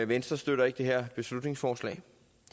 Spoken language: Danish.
venstre støtter ikke det her beslutningsforslag